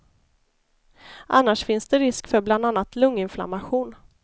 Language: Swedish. Annars finns det risk för bland annat lunginflammation.